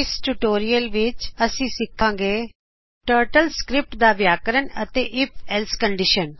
ਇਸ ਟਯੂਟੋਰਿਅਲ ਵਿੱਚ ਅਸੀ ਸਿੱਖਾਗੇ ਟਰਟਲ ਸਕ੍ਰੀਪਟ ਦਾ ਵਿਆਕਰਨ ਅਤੇ ਆਈਐਫ -else ਕਂਡਿਸ਼ਨ